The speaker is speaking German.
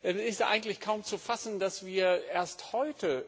Es ist eigentlich kaum zu fassen, dass wir erst heute